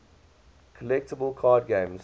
collectible card games